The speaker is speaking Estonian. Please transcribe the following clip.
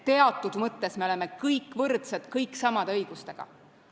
Teatud mõttes me oleme kõik võrdsed, kõik samade õigustega.